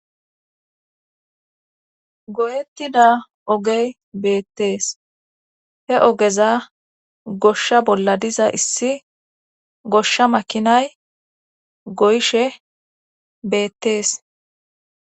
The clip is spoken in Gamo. Goyettida ogey beettees he ogeza goshsha bolla diza issi goshsha makinay goyishe beettees.